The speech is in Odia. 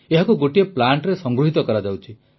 ଏହାକୁ ଗୋଟିଏ ପ୍ଲାଂଟରେ ସଂଗୃହିତ କରାଯାଉଛି